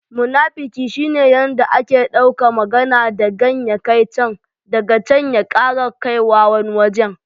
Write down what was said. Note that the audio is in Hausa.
Munafiki shi ne yanda yake dauka magana dagan ya kai can, daga can ya ƙara kaiwa wani wajen.